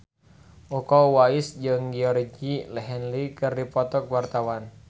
Iko Uwais jeung Georgie Henley keur dipoto ku wartawan